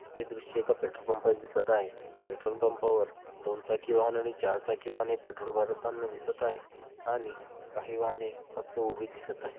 हे दृश्य एका पेट्रोलपंपाची दिसत आहे पेट्रोलपंपा वर दोन चाकी वाहन आणि चार चाकी वाहने पेट्रोल भरताना दिसत आहे आणि काही वाहने फक्त उभी दिसत आहे.